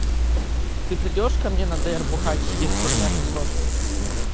ты придёшь ко мне на др бухать если у меня все сложится